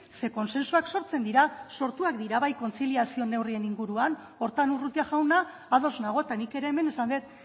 ze kontsentsuak sortzen dira sortuak dira bai kontziliazio neurrien inguruan horretan urrutia jauna ados nago eta nik ere hemen esan dut